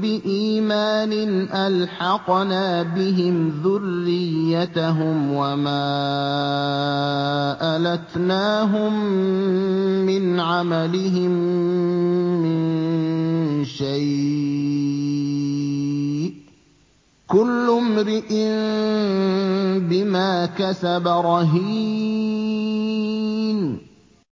بِإِيمَانٍ أَلْحَقْنَا بِهِمْ ذُرِّيَّتَهُمْ وَمَا أَلَتْنَاهُم مِّنْ عَمَلِهِم مِّن شَيْءٍ ۚ كُلُّ امْرِئٍ بِمَا كَسَبَ رَهِينٌ